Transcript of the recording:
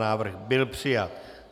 Návrh byl přijat.